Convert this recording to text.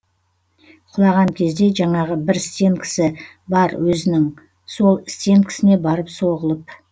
құлаған кезде жаңағы бір стенкісі бар өзінің сол стенкісіне барып соғылып